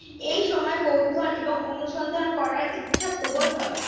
এই সময় কৌতূহল এবং অনুসন্ধান করার ইচ্ছা প্রবল হয়